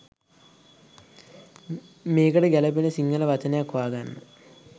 මේකට ගැළපෙන සිංහල වචනයක් හොයා ගන්න